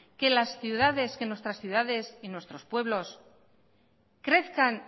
que las ciudades nuestras ciudades y nuestros pueblos crezcan